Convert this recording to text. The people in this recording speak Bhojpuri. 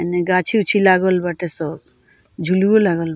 एने गाछी - उछी लागल बाटे सब झुलवो लागल --